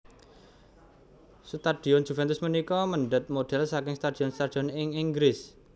Stadion Juventus punika mèndhèt model saking stadion stadion ing Inggris